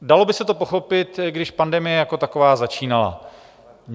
Dalo by se to pochopit, když pandemie jako taková začínala.